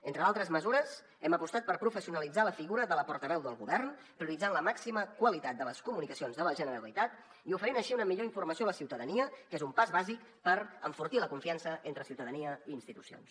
entre d’altres mesures hem apostat per professionalitzar la figura de la portaveu del govern prioritzant la màxima qualitat de les comunicacions de la generalitat i oferint així una millor informació a la ciutadania que és un pas bàsic per enfortir la confiança entre ciutadania i institucions